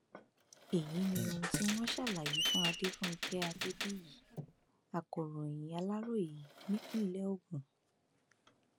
èyí ni ohun tí wọn ṣàlàyé fún adefunké adébíyì akọròyìn aláròye nípínlẹ ogun